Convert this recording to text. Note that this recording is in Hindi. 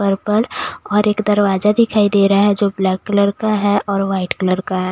पर्पल और एक दरवाजा दिखाई दे रहा है जो ब्लैक कलर का है और वाइट कलर का है --